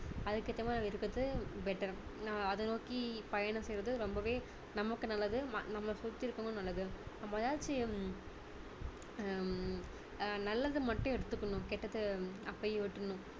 அதுக்கு ஏத்த மாதிரி இருக்கிறது better அதை நோக்கி பயணம் செய்றது ரொம்பவே நமக்கும் நல்லது நம்மளை சுத்தி இருக்கவங்களுக்கும் நல்லது நம்ம ஏதாச்சும் ஹம் ஆஹ் நல்லதை மட்டும் எடுத்துக்கணும் கெட்டதை அப்போவே விட்டுடணும்